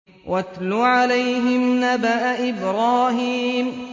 وَاتْلُ عَلَيْهِمْ نَبَأَ إِبْرَاهِيمَ